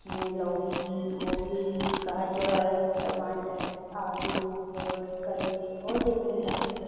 जिसमें लोकी गोभी गाजर टमाटर आलू और करेले और डिफरेंट टाइप की सब्ज़ी--